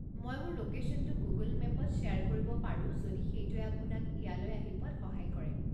মই মোৰ লোকেশ্যনটো গুগল মেপত শ্বেয়াৰ কৰিব পাৰো যদি সেইটোৱে আপোনাক ইয়ালৈ আহি পোৱাত সহায় কৰে।